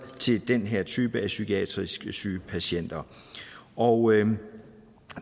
til den her type af psykiatrisk syge patienter og